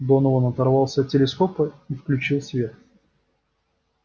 донован оторвался от телескопа и включил свет